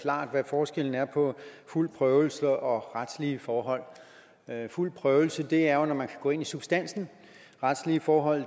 klart hvad forskellen er på fuld prøvelse og retslige forhold fuld prøvelse er jo når man kan gå ind i substansen retslige forhold